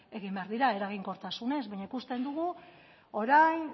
egin behar dira eraginkortasunez baina ikusten dugu orain